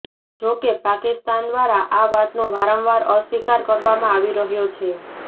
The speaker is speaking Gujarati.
જો કે પાકિસ્તાન દ્વારા આ વાતનો વારંવાર અસ્વીકાર કરવામાં આવી રહ્યો છે